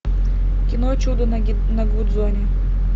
кино чудо на гудзоне